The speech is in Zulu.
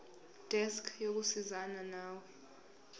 desk yokusizana nawe